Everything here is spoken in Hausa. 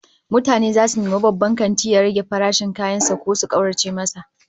Mutane zasu nemi babban kantin ya rage farashin kayan sa ko su kaurace masa